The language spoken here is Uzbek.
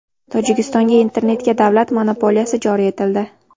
Tojikistonga internetga davlat monopoliyasi joriy etildi.